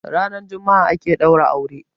ranar Juma'a ake daura aure